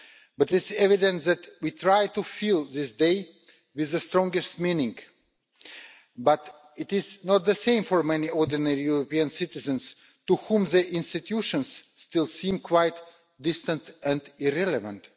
It is evident that we try to fill this day with the strongest meaning, but it is not the same for many ordinary European citizens to whom the European institutions still seem quite distant and irrelevant.